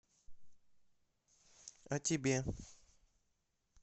а тебе